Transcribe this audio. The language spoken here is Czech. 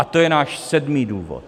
A to je náš sedmý důvod.